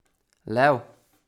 Lev?